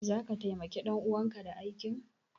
Zaka taimaki ɗan uwanka da aikin?